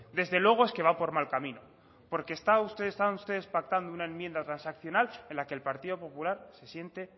desde luego es que va por mal camino porque están ustedes pactando una enmienda transaccional en la que el partido popular se siente